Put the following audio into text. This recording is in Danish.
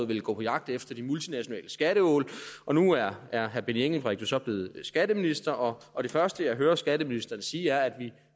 ville gå på jagt efter de multinationale skatteål nu er herre benny engelbrecht blevet skatteminister og og det første jeg hører skatteministeren sige er at vi